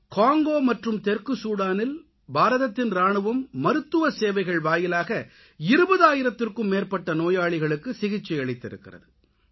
Congo மற்றும் தெற்கு சூடானில் பாரதத்தின் இராணுவம் மருத்துவ சேவைகள் வாயிலாக 20000த்திற்கும் மேற்பட்ட நோயாளிகளுக்கு சிகிச்சை அளித்திருக்கிறது